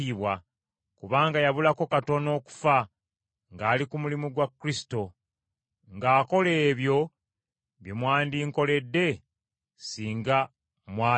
kubanga yabulako katono okufa ng’ali ku mulimu gwa Kristo, ng’akola ebyo bye mwandinkoledde singa mwali nange.